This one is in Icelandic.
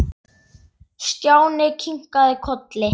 Stjáni kinkaði kolli.